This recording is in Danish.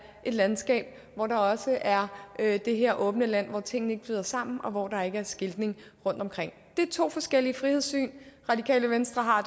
et landskab hvor der også er er det her åbne land hvor tingene ikke flyder sammen og hvor der ikke er skiltning rundtomkring det er to forskellige frihedssyn radikale venstre har